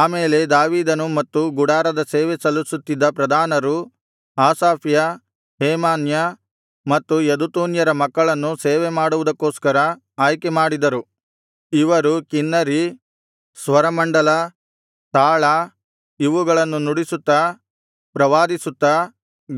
ಆಮೇಲೆ ದಾವೀದನು ಮತ್ತು ಗುಡಾರದ ಸೇವೆ ಸಲ್ಲಿಸುತ್ತಿದ್ದ ಪ್ರಧಾನರು ಆಸಾಫ್ಯ ಹೇಮಾನ್ಯ ಮತ್ತು ಯೆದುತೂನ್ಯರ ಮಕ್ಕಳನ್ನು ಸೇವೆ ಮಾಡುವುದಕ್ಕೋಸ್ಕರ ಆಯ್ಕೆಮಾಡಿದರು ಇವರು ಕಿನ್ನರಿ ಸ್ವರಮಂಡಲ ತಾಳ ಇವುಗಳನ್ನು ನುಡಿಸುತ್ತಾ ಪ್ರವಾದಿಸುತ್ತ